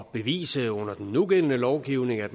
bevise under den nugældende lovgivning at